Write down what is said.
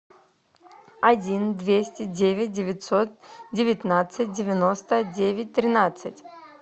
один двести девять девятьсот девятнадцать девяносто девять тринадцать